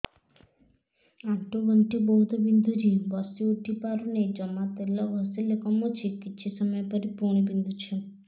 ଆଣ୍ଠୁଗଣ୍ଠି ବହୁତ ବିନ୍ଧୁଛି ବସିଉଠି ପାରୁନି ଜମା ତେଲ ଘଷିଲେ କମୁଛି କିଛି ସମୟ ପରେ ପୁଣି ବିନ୍ଧୁଛି